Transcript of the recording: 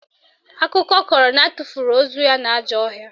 Akụkọ kọrọ na atụfuru ozu ya n'ajọ ọhịa